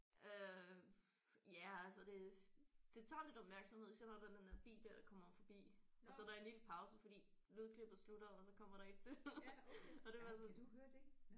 Øh ja altså det det tager lidt opmærksomhed især når den der der bil der kommer forbi og så er der en lille pause fordi lydklippet slutter og så kommer der et til og det er bare sådan